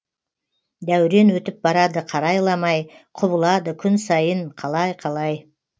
дәурен өтіп барады қарайламай құбылады күн сайын қалай қалай